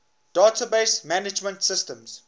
database management systems